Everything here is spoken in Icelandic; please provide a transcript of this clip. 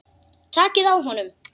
Takið á honum!